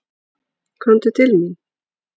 Komdu til mín.